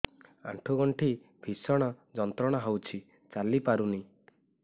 ଆଣ୍ଠୁ ଗଣ୍ଠି ଭିଷଣ ଯନ୍ତ୍ରଣା ହଉଛି ଚାଲି ପାରୁନି